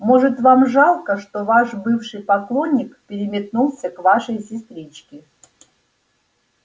может вам жалко что ваш бывший поклонник переметнулся к вашей сестричке